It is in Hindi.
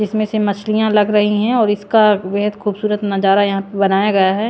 इसमें से मछलियां लग रही हैं और इसका बेहद खूबसूरत नजारा यहां बनाया गया हैं।